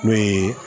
N'o ye